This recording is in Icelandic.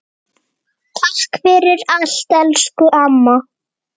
Takk fyrir allt, elsku amma.